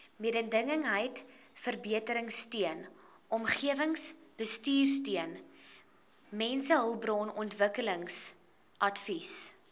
mededingendheidsverbeteringsteun omgewingsbestuursteun mensehulpbronontwikkelingsadvies